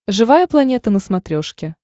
живая планета на смотрешке